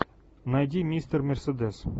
найди мистер мерседес